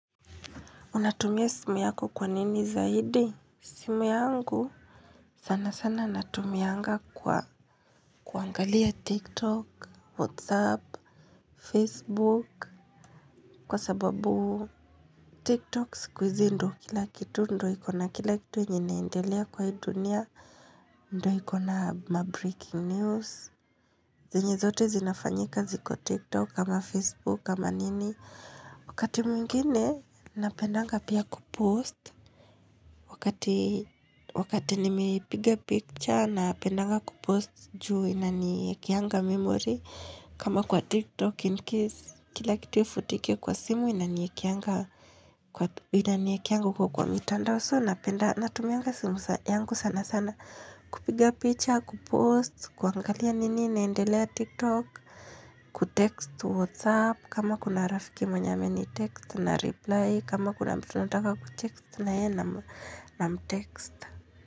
Unatumia simu yako kwa nini zaidi? Simu yangu sana sana natumianga kwa kuangalia TikTok, Whatsapp, Facebook kwa sababu tiktok siku hizi ndo kila kitu ndo ikona kila kitu yenye inaendelea kwa hii dunia ndo ikona mabreaking news. Zenye zote zinafanyika ziko TikTok ama Facebook kama nini. Wakati mwingine napendanga pia kupost. Wakati nimepiga picture napendanga kupost juu inaniekeanga memory. Kama kwa TikTok in case kila kitu ifutike kwa simu inaniekeanga huko kwa mitanda So napenda natumianga simu yangu sana sana kupiga picha kupost, kuangalia nini inaendelea TikTok. Kutext whatsapp kama kuna rafiki mwenye ameni text na reply kama kuna mtu nataka kutext na yeye nam text.